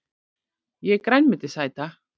Ég er grænmetisæta!